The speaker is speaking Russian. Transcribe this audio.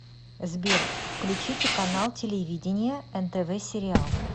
сбер включите канал телевидения нтв сериал